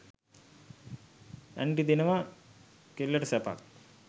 aunty දෙනවා කෙල්ලටසැපක්